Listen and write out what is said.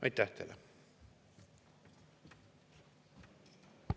Aitäh teile!